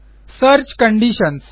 search conditions